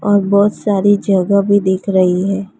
और बहुत सारी जगह भी दिख रही है।